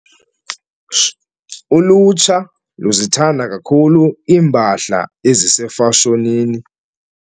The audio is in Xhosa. Ulutsha luzithanda kakhulu iimpahla ezisefashonini.